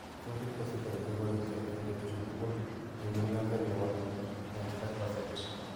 Si kobiit kosulda niito, koriipkei eng' peetuusyek tugul eng' nyumnateet ne po 95%.